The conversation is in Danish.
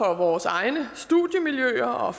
vores egne studiemiljøer og